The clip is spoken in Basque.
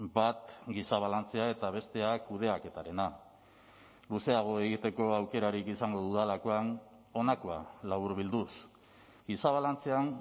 bat giza balantzea eta bestea kudeaketarena luzeago egiteko aukerarik izango dudalakoan honakoa laburbilduz giza balantzean